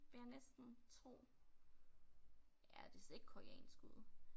Vil jeg næsten tro. Ja det ser ikke koreansk ud